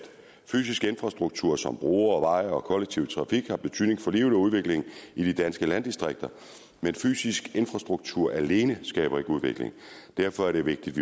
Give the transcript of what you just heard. fysisk infrastruktur som broer og veje og kollektiv trafik har betydning for livet og udviklingen i de danske landdistrikter men fysisk infrastruktur alene skaber ikke udvikling og derfor er det vigtigt